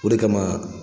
O de kama